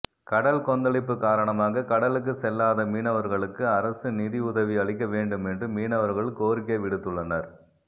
கடல் கொந்தளிப்பு காரணமாக கடலுக்கு செல்லாத மீனவர்களுக்கு அரசு நிதி உதிவி அளிக்க வேண்டும் என்று மீனவர்கள் கோரிக்கை விடுத்துள்ளனர்